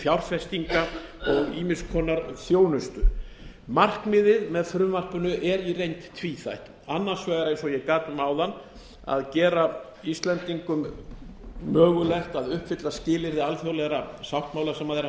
og ýmiss konar þjónustu markmiðið með frumvarpinu er í reynd tvíþætt annars vegar eins og ég gat um áðan að gera íslendingum mögulegt að uppfylla skilyrði alþjóðlegra sáttmála sem þeir hafa